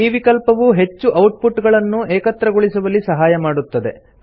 ಈ ವಿಕಲ್ಪವು ಹೆಚ್ಚು ಔಟ್ ಪುಟ್ ಗಳನ್ನು ಏಕತ್ರಗೊಳಿಸುವಲ್ಲಿ ಸಹಾಯ ಮಾಡುತ್ತದೆ